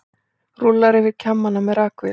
Rúllar yfir kjammana með rakvél.